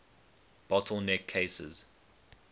bottle neck cases